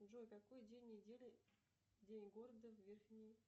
джой какой день недели день города в верхней